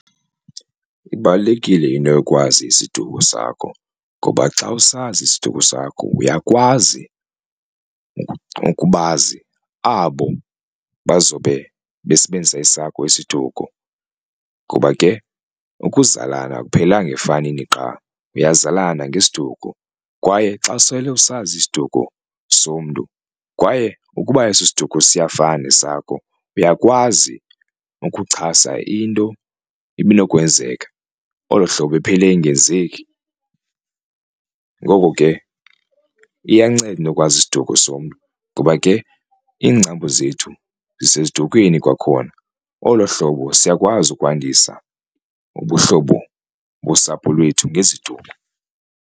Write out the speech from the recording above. Ibalulekile into yokwazi isiduko sakho ngoba xa usazi isiduko sakho uyakwazi ukubazi abo bazobe besebenzisa esakho isiduko kuba ke ukuzalana akuphelelanga efanini qha. Niyazalana ngesiduko kwaye xa usele usazi isiduko somntu kwaye ukuba eso siduko siyafana nesakho uyakwazi ukuchasa into ibinokwenzeka olo hlobo iphele ingenzeki. Ngoko ke iyanceda into yokwazi isiduko somntu ngoba ke iingcambu zisedukwini kwakhona olo hlobo siyakwazi ukwandisa ubuhlobo bosapho lwethu ngesiduko.